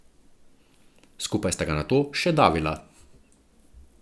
Skupaj sta ga nato še davila.